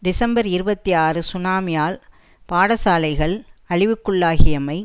December இருபத்தி ஆறு சுனாமியால் பட சாலைகள் அழிவுக்குள்ளாகியமை